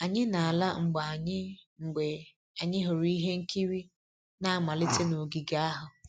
Anyị na-ala mgbe anyị mgbe anyị hụrụ ihe nkiri na-amalite n'ogige ahụ